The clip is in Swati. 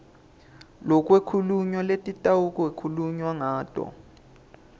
lekwakhulunywa lekutawukhulunywa ngato